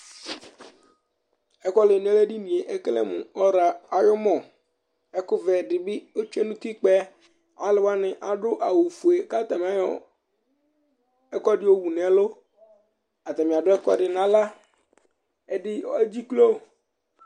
Ɛkuwaŋi lɛ ŋu edinie ekele mu ɔra ayʋ mɔ Ɛku vɛ ɖìbí ɔtsʋe ʋtikpa'ɛ Alʋwani aɖu awu fʋe kʋ ataŋi ayɔ ɛkʋɛɖi yɔwu ŋu ɛlu Ataŋi aɖu ɛkʋɛɖi ŋu aɣla Ɛɖí edziklo